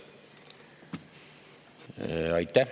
Aitäh!